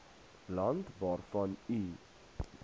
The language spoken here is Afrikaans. land waarvan u